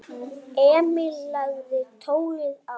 Emil lagði tólið á.